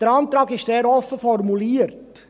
: Der Antrag ist sehr offen formuliert.